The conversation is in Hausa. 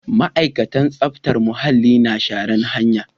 Ma'aikatan tsaftar muhalli na shara'n hanya.